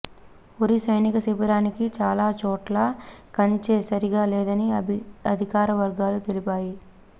ఉరీ సైనిక శిబిరానికి చాలా చోట్ల కంచె సరిగా లేదని అధికార వర్గాలు తెలిపాయి